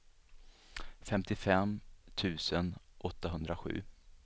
femtiofem tusen åttahundrasju